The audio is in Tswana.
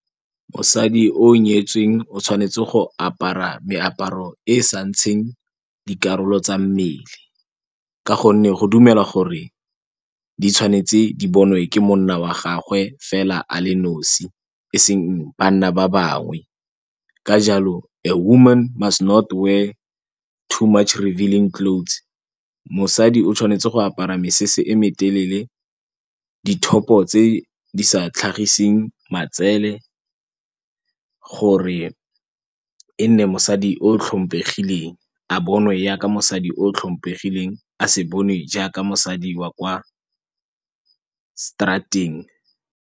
Mosadi o nyetsweng o tshwanetse go apara meaparo e sa ntsheng dikarolo tsa mmele ka gonne go dumelwa gore di tshwanetse di bonwe ke monna wa gagwe fela a le nosi eseng banna ba bangwe ka jalo a woman must not wear too much revealing clothes mosadi o tshwanetse go apara mesese e metelele, di-top-o tse di sa tlhagiseng matsele gore e nne mosadi o tlhompegileng a bonwe jaaka mosadi o tlhompegileng a se bonwe jaaka mosadi wa kwa straat-eng.